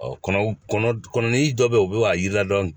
kɔnɔw kɔnɔdi dɔ be yen u bi k'a yira dɔni